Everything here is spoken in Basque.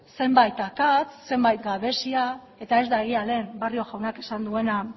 zenbait akats zenbait gabezia eta ez da egia lehen barrio jaunak esan duena